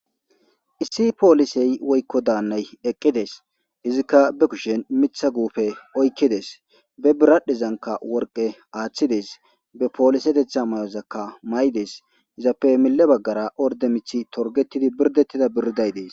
Issi poliseyi woyikko danayi eqides.izikka bee kushshenni miththa guppe oyikides.bee bidhadhezankka woriqqe aththidi,bee poliseteththa mayozakka mayides.izappe mile bagara oridde miththi torigettidi boridetida biridayi dees.